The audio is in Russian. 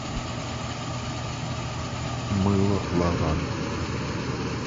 мыло лаванда